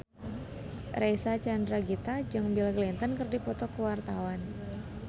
Reysa Chandragitta jeung Bill Clinton keur dipoto ku wartawan